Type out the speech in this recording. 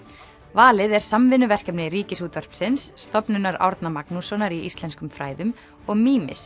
valið er samvinnuverkefni Ríkisútvarpsins Stofnunar Árna Magnússonar í íslenskum fræðum og